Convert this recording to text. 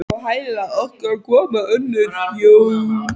Á hæla okkar komu önnur hjón.